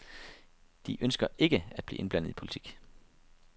De ønsker ikke at blive indblandet i politik.